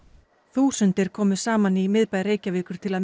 þúsundir komu saman í miðbæ Reykjavíkur til